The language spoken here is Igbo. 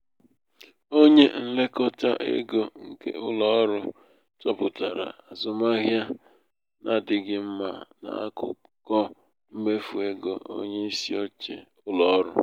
onye nlekọta ego nke ụlọ ọrụ chọpụtara azụmahịa n'adịghị mma n'akụkọ mmefu égo onye isi oche ụlọ ọrụ.